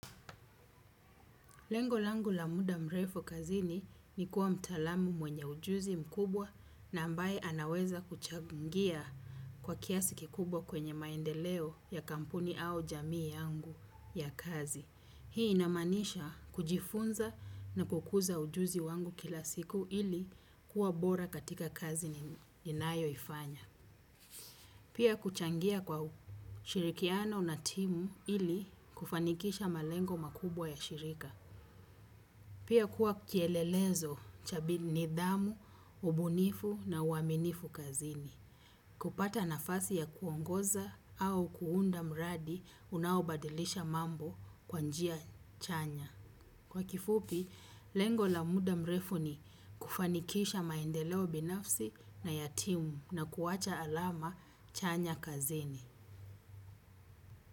Lengo langu la muda mrefu kazini ni kuwa mtaalamu mwenye ujuzi mkubwa na ambaye anaweza kuchangia kwa kiasi kikubwa kwenye maendeleo ya kampuni au jamii yangu ya kazi. Hii inamaanisha kujifunza na kukuza ujuzi wangu kila siku ili kuwa bora katika kazi ninayoifanya. Pia kuchangia kwa ushirikiano na timu ili kufanikisha malengo makubwa ya shirika. Pia kuwa kielelezo nidhamu, ubunifu na uaminifu kazini. Kupata nafasi ya kuongoza au kuunda mradi unaobadilisha mambo kwa njia chanya. Kwa kifupi, lengo la muda mrefu ni kufanikisha maendeleo binafsi na ya timu na kuwacha alama chanya kazini.